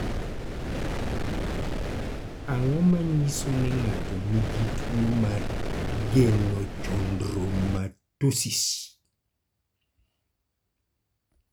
Ang�o ma nyiso ni ng�ato nigi tuo mar Genochondromatosis?